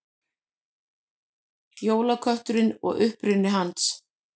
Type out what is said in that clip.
Jólakötturinn og uppruni hans.